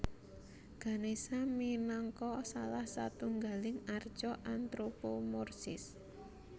Ganesha minangka salah satunggaling arca antropomorsis